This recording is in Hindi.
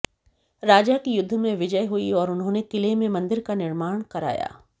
राजा की युद्ध में विजय हुई और उन्होंने किले में मंदिर का निर्माण कराया